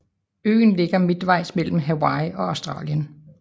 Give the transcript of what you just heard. Øen ligger midtvejs mellem Hawaii og Australien